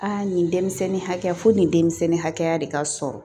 Aa nin denmisɛnnin hakɛ fo nin denmisɛnnin hakɛya de ka sɔrɔ